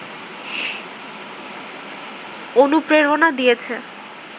অনুপ্রেরণা দিয়েছে